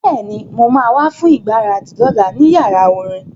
Bẹ́ẹ̀ni, mo ma wá fún ìgbáradì lọ́la ní yàrá orin